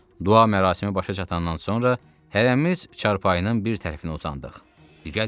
Dua mərasimi başa çatandan sonra hərəmiz çarpayının bir tərəfinə uzandıq, ləqər yatmadıq.